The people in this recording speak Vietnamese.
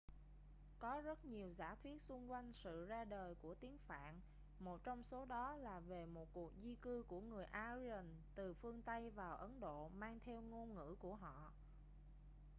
có rất nhiều giả thuyết xung quanh sự ra đời của tiếng phạn một trong số đó là về một cuộc di cư của người aryan từ phương tây vào ấn độ mang theo ngôn ngữ của họ